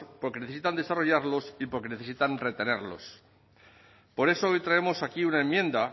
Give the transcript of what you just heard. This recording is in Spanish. porque necesitan desarrollarlos y porque necesitan retenerlos por eso hoy traemos aquí una enmienda